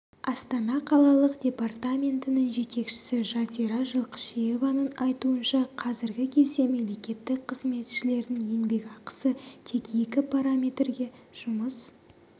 астана қалалық департаментінің жетекшісі жазира жылқышиеваның айтуынша қазіргі кезде мемлекеттік қызметшілердің еңбекақысы тек екі параметрге жұмыс